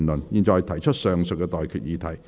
我現在向各位提出上述待決議題。